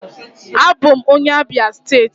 Abụ m onye Abia steeti.